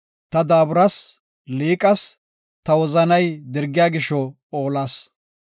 Ta daaburas; liiqas; ta wozanay dirgiya gisho oolas.